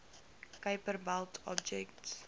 kuiper belt objects